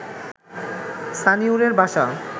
সানিউরের বাসা